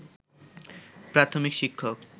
প্রাথমিক শিক্ষক